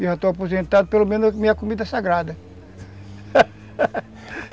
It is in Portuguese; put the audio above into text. Eu já estou aposentado, pelo menos minha comida é sagrada